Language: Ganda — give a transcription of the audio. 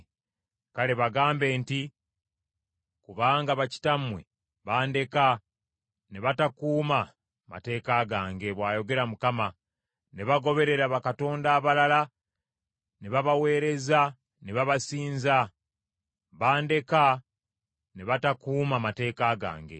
Kale bagambe nti, ‘Kubanga bakitammwe bandeka ne batakuuma mateeka gange,’ bw’ayogera Mukama , ‘ne bagoberera bakatonda abalala ne babaweereza ne babasinza. Bandeka ne batakuuma mateeka gange.